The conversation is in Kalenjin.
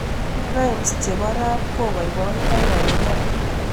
rhymes chepo rap kopoipoito eng iman